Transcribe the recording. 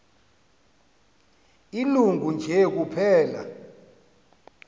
ilungu nje kuphela